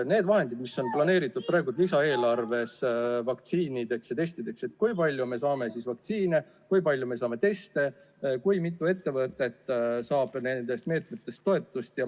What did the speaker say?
Need vahendid, mis on planeeritud praeguses lisaeelarves vaktsiinide ja testide ostmiseks – kui palju me saame vaktsiine, kui palju me saame teste, mitu ettevõtet saab nendest meetmetest toetust?